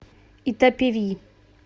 итапеви